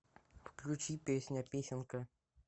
включи песня песенка